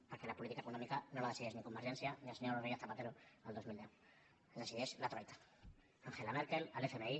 perquè la política econòmi·ca no la decideix ni convergència ni el senyor rodrí·guez zapatero el dos mil deu la decideix la troica angela merkel l’fmi